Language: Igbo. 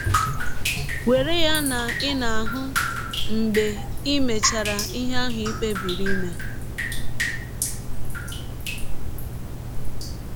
Were ya na ị na - ahụ mgbe i mechara ihe ahụ i kpebiri ime.